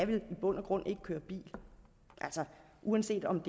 vel i bund og grund ikke køre bil altså uanset om